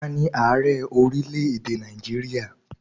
Taani Ààrẹ orílẹ̀ èdè Nàìjíríà?